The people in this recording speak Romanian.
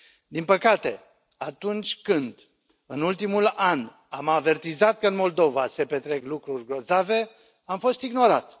Din păcate, atunci când, în ultimul an, am avertizat că în Moldova se petrec lucruri grozave, am fost ignorat.